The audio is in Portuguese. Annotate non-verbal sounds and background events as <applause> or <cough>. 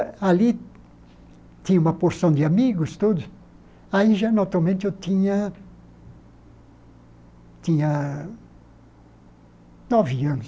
Ali tinha uma porção de amigos todos, aí já, <unintelligible> eu tinha tinha nove anos.